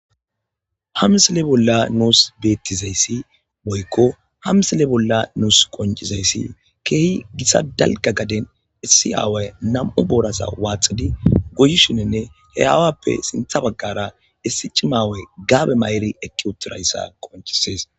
Ha misile bolla nuusi beettizayssi boykko ha misile bolla nuus qoncizayssi keehi gisa dalga gaden issi aaway nam'u boorasa waaxidi guyushininne he aawappe sintha baggara issi cimaawe gaabe may'eri ekki uturayssa qoncisees.